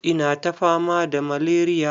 Ina ta fama da malaria.